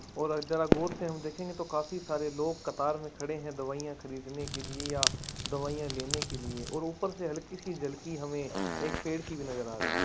और जरा गौर से हमे देखंगे तो काफी सारे लोग कतार में खड़े है दवाइयां खरीदने के लिए या दवाइयां लेने के लिए और ऊपर से हलकी सी झलकी हमें एक पेड़ की भी नजर आ रही हैं।